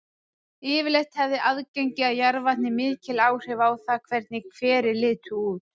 Yfirleitt hefði aðgengi að jarðvatni mikil áhrif á það hvernig hverir litu út.